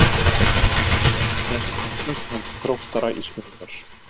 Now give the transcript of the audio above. Þetta var annað tap Þróttara í sumar.